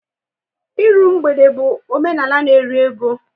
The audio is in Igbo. Ịrụ mgbede bụ omenala n'eri ego